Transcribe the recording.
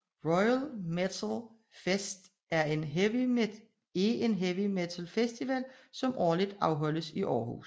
Royal Metal Fest er en heavy metal festival som årligt afholdes i Aarhus